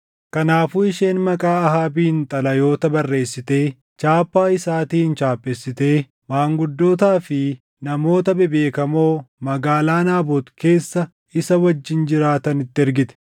Kanaafuu isheen maqaa Ahaabiin xalayoota barreessitee chaappaa isaatiin chaappeessitee maanguddootaa fi namoota bebeekamoo magaalaa Naabot keessa isa wajjin jiraatanitti ergite.